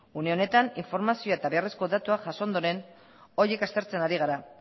une honetan informazioa eta beharrezko datua jaso ondoren horiek aztertzen ari gara